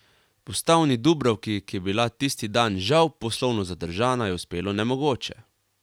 Postavni Dubravki, ki je bila tisti dan žal poslovno zadržana, je uspelo nemogoče.